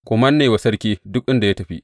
Ku manne wa sarki duk inda ya tafi.